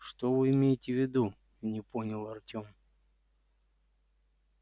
что вы имеете в виду не понял артём